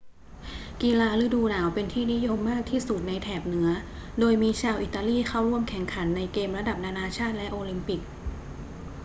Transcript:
กีฬาฤดูหนาวเป็นที่นิยมมากที่สุดในแถบเหนือ โดยมีชาวอิตาลีเข้าร่วมแข่งขันในเกมระดับนานาชาติและโอลิมปิก